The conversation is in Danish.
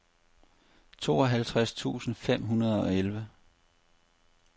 tooghalvtreds tusind fem hundrede og elleve